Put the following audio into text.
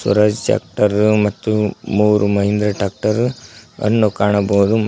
Swaraj tractor ಮತ್ತು ಮೂರು Mahindra tractor ಅನ್ನು ಕಾಣಬಹುದು ಮತ್ತು--